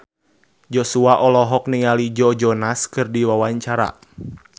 Joshua olohok ningali Joe Jonas keur diwawancara